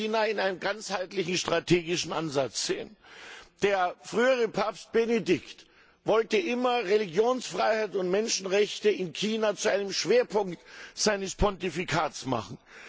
Wir müssen China in einem ganzheitlichen strategischen Ansatz sehen. Der frühere Papst Benedikt wollte immer Religionsfreiheit und Menschenrechte in China zu einem Schwerpunkt seines Pontifikats machen.